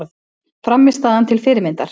Frammistaðan til fyrirmyndar